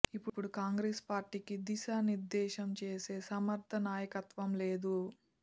ఇప్పుడు కాంగ్రెస్ పార్టీకి దిశా నిర్దేశం చేసే సమర్థ నాయకత్వం లేదు